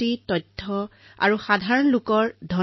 প্ৰতিবাৰে মন কী বাতৰ পূৰ্বে জনসাধাৰণৰ পৰা অসংখ্য পত্ৰ আহে